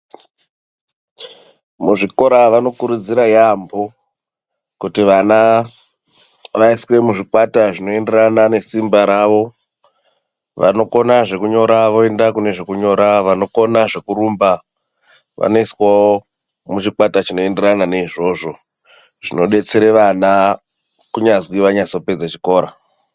Muzvikora vanokurudzira yaampho kuti vana vaiswe muzvikwata zvinoenderana nesimba ravo, vanokona zvekunyora voenda kune zvekunyora, vanokona zvekurumba vanoiswawo muchikwata chinoenderana neizvozvo, zvinodetsere vana kunyazwi vanyazopedze zvikora.